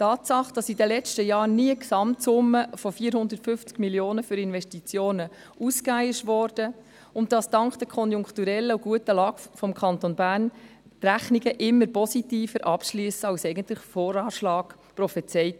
die Tatsache, dass in den letzten Jahren die Gesamtsumme von 450 Mio. Franken für Investitionen ausgegeben wurde und dass dank der konjunkturell guten Lage des Kantons Bern die Rechnungen immer positiver abschlossen als der VA prophezeite.